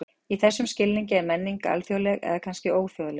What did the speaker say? Í þessum skilningi er menning alþjóðleg, eða kannski óþjóðleg.